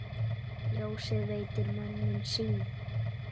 Ljósið veitir mönnum sýn.